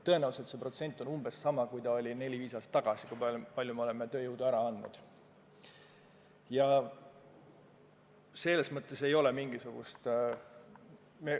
Tõenäoliselt see protsent, kui palju me tööjõudu ära oleme andnud, on umbes sama kui 4–5 aastat tagasi.